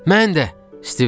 Mən də, Stiv dedi.